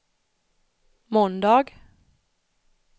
måndag